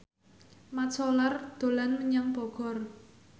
Mat Solar dolan menyang Bogor